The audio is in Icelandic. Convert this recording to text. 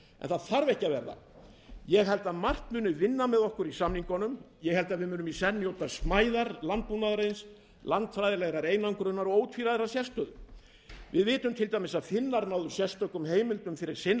það þarf ekki að verða ég held að margt muni vinna með okkur í samningunum ég held að við munum í senn njóta smæðar landbúnaðarins landfræðilegrar einangrunar og ótvíræðrar sérstöðu við vitum til dæmis að finnar náðu sérstökum heimildum fyrir sinn